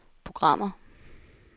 programmer